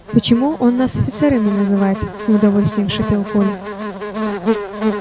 почему он нас офицерами называет с неудовольствием шипел коля